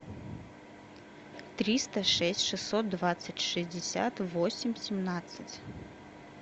триста шесть шестьсот двадцать шестьдесят восемь семнадцать